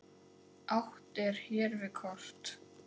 Átt er hér við kort.